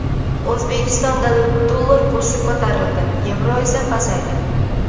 O‘zbekistonda dollar kursi ko‘tarildi, yevro esa pasaydi.